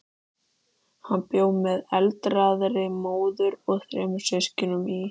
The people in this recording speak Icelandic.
Hann bjó með aldraðri móður og þremur systkinum í